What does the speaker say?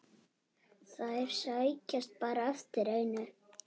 Þeir sækjast bara eftir einu.